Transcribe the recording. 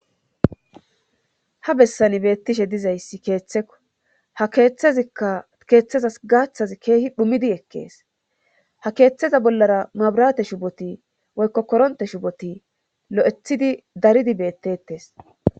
ha bessan beettishe dizayssi keeththeko ha keeththezikka keeththezas gaaththazi keehi dhumidi ekkees ha keeththeza bollara mabirate shuboti woykko koronte shuboti lo7ethidi daridi bettetes